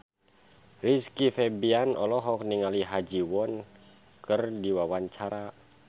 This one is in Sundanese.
Rizky Febian olohok ningali Ha Ji Won keur diwawancara